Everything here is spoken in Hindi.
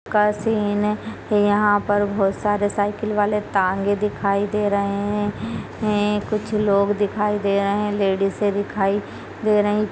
यहाँ पर बहुत सारे साइकिल वाले टांगे दिखाई दे रहे हैं कुछ लोग दिखाई दे रहे हैं लेडीज़ दिखाई दे रही--